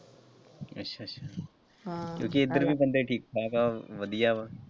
ਅੱਛਾ ਅੱਛਾ ਕਿਉਂਕਿ ਉੱਧਰ ਵੀ ਬੰਦੇ ਠੀਕ ਠਾਕ ਹੈ ਵਧੀਆ ਵਾ।